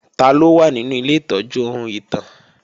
Taló wà nínú ilé ìtọ́jú ohun ìtàn?